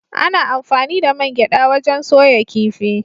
Ana anfani da man gyaɗa wajen soya kifi.